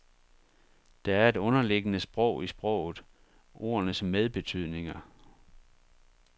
Der er et underliggende sprog i sproget, ordenes medbetydninger.